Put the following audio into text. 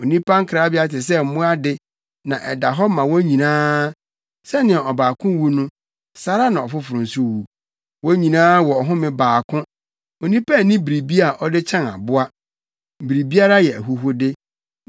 Onipa nkrabea te sɛ mmoa de na ɛda hɔ ma wɔn nyinaa. Sɛnea ɔbaako wu no, saa ara na ɔfoforo nso wu. Wɔn nyinaa wɔ ɔhome baako; onipa nni biribi a ɔde kyɛn aboa. Biribiara yɛ ahuhude.